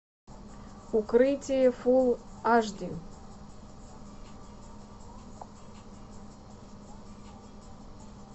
укрытие фул аш ди